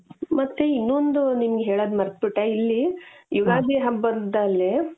ಮತ್ತೆ ಇನ್ನೊಂದು ನಿಮಗೆ ಹೇಳೋದ್ ಮರೆತು ಬಿಟ್ಟೆ ಇಲ್ಲಿ ಯುಗಾದಿ ಹಬ್ಬದಲ್ಲಿ.